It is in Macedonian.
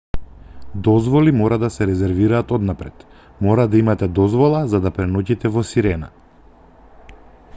дозволи мора да се резервираат однапред мора да имате дозвола за да преноќите во сирена